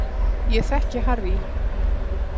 Ég þekki Harry